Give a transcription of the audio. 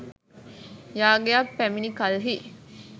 යාගයක් පැමිණි කල්හී